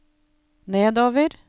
nedover